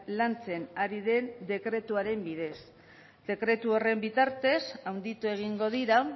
lantzen ari den dekretuaren bidez dekretu horren bitartez handitu egingo dira